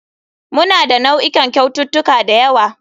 Muna da nau'ikan kyaututtuka da yawa.